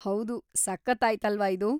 ಹೌದು! ಸಖತ್ತಾಯ್ತಲ್ವ ಇದು?